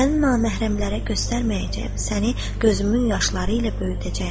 Səni naməhrəmlərə göstərməyəcəyəm, səni gözümün yaşları ilə böyüdəcəyəm.